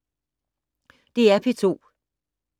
DR P2